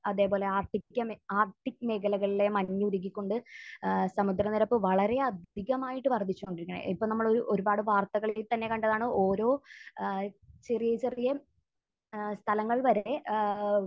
അതേപോലെ ആർട്ടിക മേഖ...ആർട്ടിക് മേഖലകളിലെ മഞ്ഞ് ഉരുകിക്കൊണ്ട് ഏഹ് സമുദ്രനിരപ്പ് വളരെ അധികമായിട്ട് വർധിച്ചുകൊണ്ടിരിക്കുകയാണ്. ഇപ്പോൾ നമ്മൾ ഒരുപാട് വാർത്തകളിൽ തന്നെ കണ്ടതാണ് ഓരോ ഏഹ് ചെറിയ, ചെറിയ ഏഹ് സ്ഥലങ്ങൾ വരെ ഏഹ്